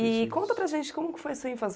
E conta para a gente como que foi sua infância.